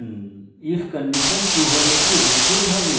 if condition true হলে এটি execute হবে